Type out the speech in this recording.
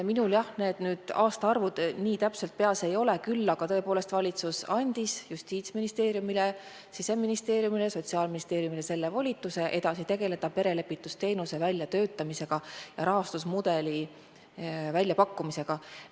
Minul aastaarvud nii täpselt peas ei ole, aga tõepoolest valitsus andis Justiitsministeeriumile, Siseministeeriumile, Sotsiaalministeeriumile volituse edasi tegeleda perelepitusteenuse väljatöötamisega ja rahastusmudeli väljapakkumisega.